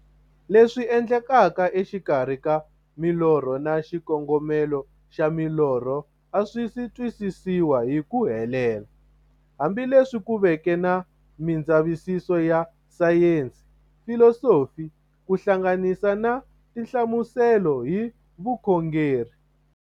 Leswi endlekaka e xikarhi ka milorho na xikongomelo xa milorho a swisi twisisiwa hi ku helela, hambi leswi ku veke na mindzavisiso ya sayensi, filosofi ku hlanganisa na tinhlamuselo hi vukhongori.